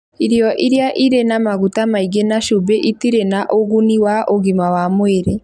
irio iria irĩ na maguta maingĩ na cumbĩ itirĩ na ũguni wa ũgima wa mwĩrĩ